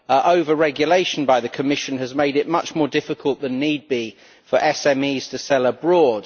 Over regulation by the Commission has made it much more difficult than it need be for SMEs to sell abroad.